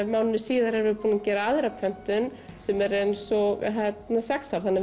mánuði síðar erum við búin að gera aðra pöntun sem er eins og sex ár þannig